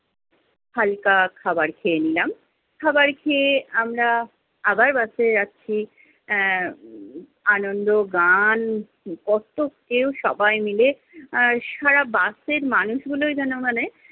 হালকা খাবার খেয়ে নিলাম। খাবার খেয়ে আমরা আবার বাসে যাচ্ছি। আহ আনন্দ, গান কত্ত কেউ সবাই মিলে। আর সারা বাসের মানুষগুলোই যেন মানে